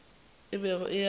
a bego a eya go